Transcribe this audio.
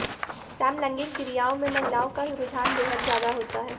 समलैंगिक क्रियाओं में महिलाओं का रुझान बेहद ज्यादा होता है